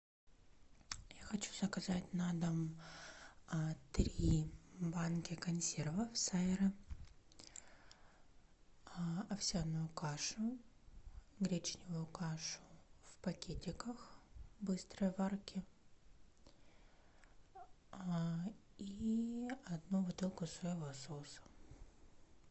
я хочу заказать на дом три банки консервы сайра овсяную кашу гречневую кашу в пакетиках быстрой варки и одну бутылку соевого соуса